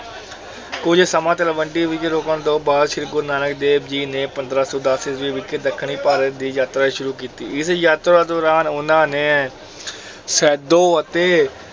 ਕੁੱਝ ਸਮਾਂ ਤਲਵੰਡੀ ਵਿੱਚ ਰੁਕਣ ਤੋਂ ਬਾਅਦ ਸ੍ਰੀ ਗੁਰੂ ਨਾਨਕ ਦੇਵ ਜੀ ਨੇ ਪੰਦਰਾਂ ਸੌ ਦਸ ਈਸਵੀ ਵਿੱਚ ਦੱਖਣੀ ਭਾਰਤ ਦੀ ਯਾਤਰਾ ਸ਼ੁਰੂ ਕੀਤੀ, ਇਸ ਯਾਤਰਾ ਦੌਰਾਨ ਉਹਨਾਂ ਨੇ ਸੈਦੋ ਅਤੇ